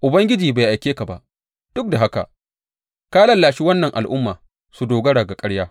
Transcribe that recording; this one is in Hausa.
Ubangiji bai aike ka ba, duk da haka ka lallashe wannan al’umma su dogara ga ƙarya.